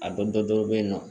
A dɔ dɔ bɛyinɔ